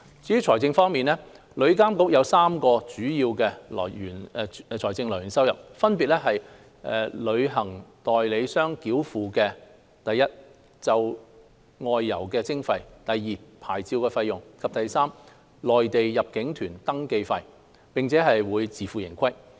至於財政方面，旅監局將有3項主要財政收入來源，分別是由旅行代理商繳付的1就外遊費的徵費 ；2 牌照費用；及3內地入境旅行團登記費，並會自負盈虧。